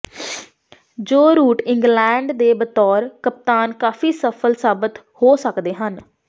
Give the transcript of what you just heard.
ਜੋ Root England ਦੇ ਬਤੌਰ ਕਪਤਾਨ ਕਾਫ਼ੀ ਸਫਲ ਸਾਬਤ ਹੋ ਸਕਦੇ ਹਨ